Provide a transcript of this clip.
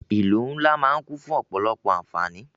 Ìlú ńlá máà ń kún fún ọ̀pọ̀lọpọ̀ àǹfáání.